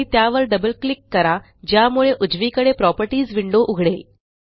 आणि त्यावर double click करा ज्यामुळे उजवीकडे प्रॉपर्टीज विंडो उघडेल